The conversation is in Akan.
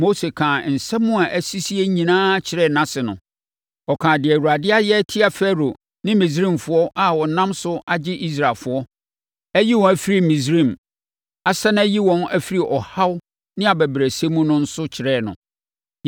Mose kaa nsɛm a asisie nyinaa kyerɛɛ nʼase no. Ɔkaa deɛ Awurade ayɛ atia Farao ne Misraimfoɔ a ɔnam so agye Israelfoɔ, ayi wɔn afiri Misraim, asane ayi wɔn afiri ɔhaw ne abɛbrɛsɛ mu no nso kyerɛɛ no.